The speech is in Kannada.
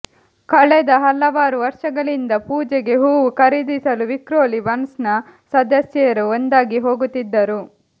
ಕಳೆದ ಹಲವಾರು ವರ್ಷಗಳಿಂದ ಪೂಜೆಗೆ ಹೂವು ಖರೀದಿಸಲು ವಿಕ್ರೋಲಿ ಬಂಟ್ಸ್ನ ಸದಸ್ಯೆಯರು ಒಂದಾಗಿ ಹೋಗುತ್ತಿದ್ದರು